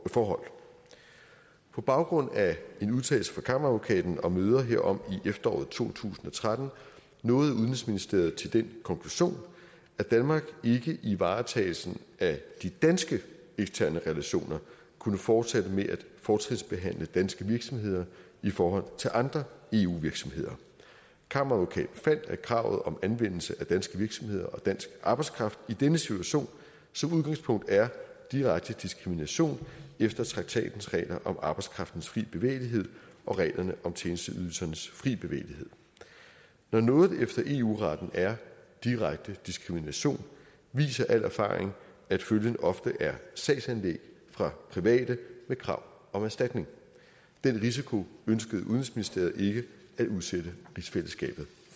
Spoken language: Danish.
forhold på baggrund af en udtalelse fra kammeradvokaten og møder herom i efteråret to tusind og tretten nåede udenrigsministeriet til den konklusion at danmark ikke i varetagelsen af de danske eksterne relationer kunne fortsætte med at fortrinsbehandle danske virksomheder i forhold til andre eu virksomheder kammeradvokaten fandt at kravet om anvendelse af danske virksomheder og dansk arbejdskraft i denne situation som udgangspunkt er direkte diskrimination efter traktatens regler om arbejdskraftens fri bevægelighed og reglerne om tjenesteydelsernes fri bevægelighed når noget efter eu retten er direkte diskrimination viser al erfaring at følgen ofte er sagsanlæg fra private med krav om erstatning den risiko ønskede udenrigsministeriet ikke at udsætte rigsfællesskabet